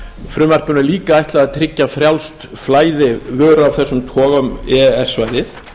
frumvarpinu er líka ætlað að tryggja frjálst flæði vöru af þessum toga um e e s svæðið